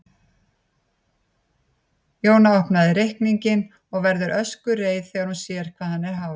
Jóna opnar reikninginn og verður öskureið þegar hún sér hvað hann er hár.